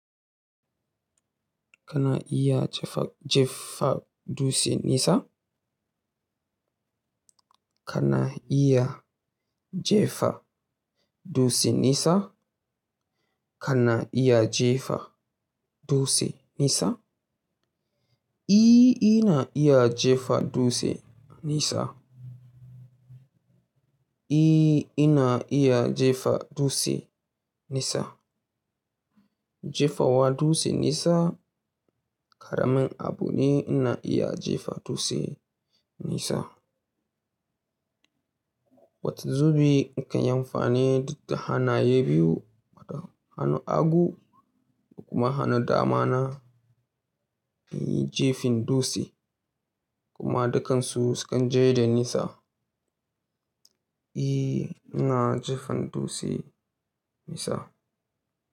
Kana iya jefa dutse nisa? Kana iya jefa dutse nisa? Kana iya jefa dutse nisa? Ina iya jefa dutse nisa. Ina iya jefa dutse nisa. Jefa wa dutse nisa ƙaramin abu ne ina iya jefa dutse nisa. Wata zubin in kan amfani da hannaye biyu, wata hanun hagu da kuma hanu dama na in yi jefin dutse kuma dukkansu su kan je da nisa. Ina jefan dutse nisa.